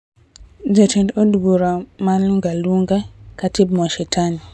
Jatend od bura mar Lunga Lunga, Khatib Mwashetani